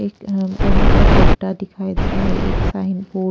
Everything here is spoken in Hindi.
एक अ अ बड़ा सा गड्डा दिखाई दे रहा है एक साइन वो--